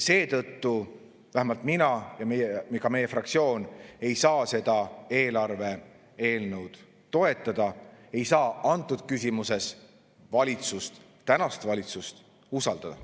Seetõttu vähemalt mina ega meie fraktsioon ei saa seda eelarve eelnõu toetada, ei saa antud küsimuses tänast valitsust usaldada.